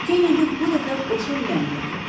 Kennedi bu dəfə qoşa lüləni götürdü.